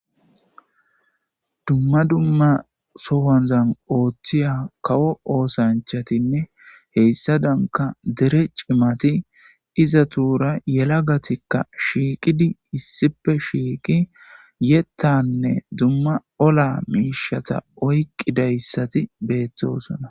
Dumma dumma sowanzan ooththiya kawo oosanchatinne heyssa danka dere cimati iza tuura yela gatikka shiiqidi issipe shiiqi yettanne dumma ola miishata oyqqidayssati beettosona.